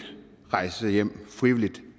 rejse hjem